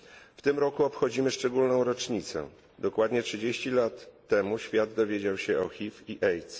W tym roku obchodzimy szczególną rocznicę dokładnie 30 lat temu świat dowiedział się o HIV i AIDS.